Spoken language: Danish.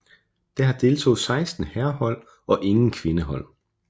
Der deltog seksten herrehold og ingen kvindehold